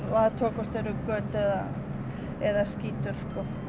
og athugað hvort það eru göt eða eða skítur